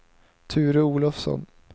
Ture Olofsson